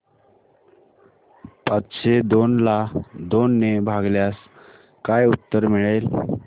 पाचशे दोन ला दोन ने भागल्यास काय उत्तर मिळेल